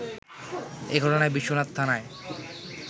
এ ঘটনায় বিশ্বনাথ থানায়